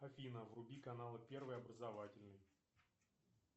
афина вруби каналы первый образовательный